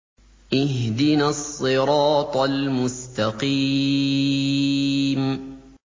اهْدِنَا الصِّرَاطَ الْمُسْتَقِيمَ